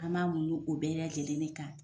An m'an muɲu o bɛɛ lajɛlen de kan.